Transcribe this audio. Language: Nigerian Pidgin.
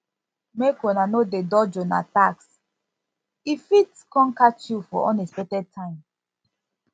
make una no dey dodge una tax e fit come catch you for unexpected time